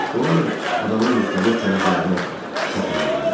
Onlar adanın müxtəlif tərəflərinə səpələndilər.